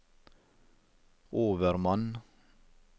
overmann